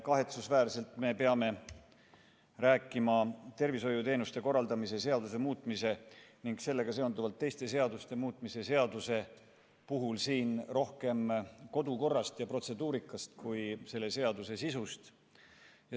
Kahetsusväärselt me peame rääkima tervishoiuteenuste korraldamise seaduse muutmise ning sellega seonduvalt teiste seaduste muutmise seaduse eelnõu puhul siin rohkem kodukorrast ja protseduurikast kui selle seaduse sisust.